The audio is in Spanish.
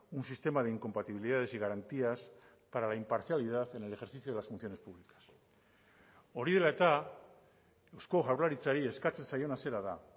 un sistema de incompatibilidades y garantías para la imparcialidad en el ejercicio de las funciones públicas hori dela eta eusko jaurlaritzari eskatzen zaiona zera da